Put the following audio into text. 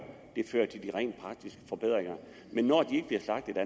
fører til de rent praktiske forbedringer når de ikke bliver slagtet